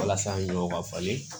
Walasa ɲɔw ka falen